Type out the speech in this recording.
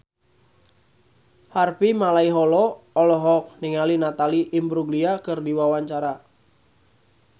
Harvey Malaiholo olohok ningali Natalie Imbruglia keur diwawancara